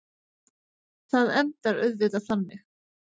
Það endar auðvitað þannig.